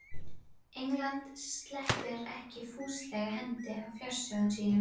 England sleppir ekki fúslega hendinni af fjársjóðum sínum.